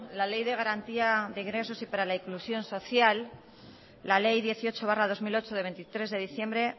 la ley dieciocho barra dos mil ocho de veintitrés de diciembre